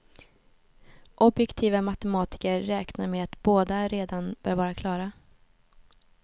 Objektiva matematiker räknar med att båda redan bör vara klara.